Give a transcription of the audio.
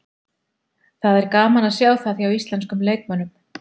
Það er gaman að sjá það hjá íslenskum leikmönnum.